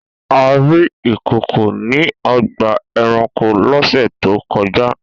A rí ìkòkò ní ọgbà-ẹranko lọ́sẹ̀ tó kọjá.